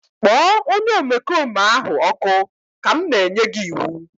kpọọ onye omekome ahụ ọkụ ka m na-enye gị iwu!